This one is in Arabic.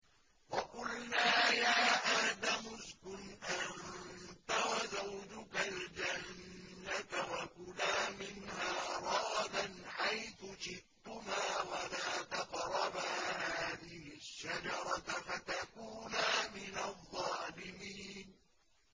وَقُلْنَا يَا آدَمُ اسْكُنْ أَنتَ وَزَوْجُكَ الْجَنَّةَ وَكُلَا مِنْهَا رَغَدًا حَيْثُ شِئْتُمَا وَلَا تَقْرَبَا هَٰذِهِ الشَّجَرَةَ فَتَكُونَا مِنَ الظَّالِمِينَ